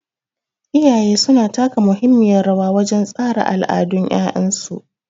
Iyaye su na taka muhimmiyar rawa wajen tsara al'adun 'ya'yansu.